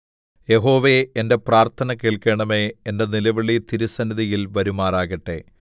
യഹോവേ എന്റെ പ്രാർത്ഥന കേൾക്കണമേ എന്റെ നിലവിളി തിരുസന്നിധിയിൽ വരുമാറാകട്ടെ